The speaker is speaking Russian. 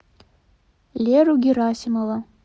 леру герасимова